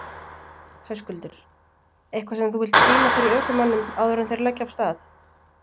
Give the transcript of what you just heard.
Höskuldur: Eitthvað sem þú vilt brýna fyrir ökumönnum áður en þeir leggja af stað?